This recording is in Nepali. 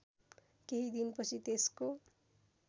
केही दिनपछि त्यसको